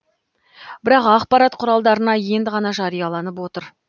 бірақ ақпарат құралдарына енді ғана жарияланып отыр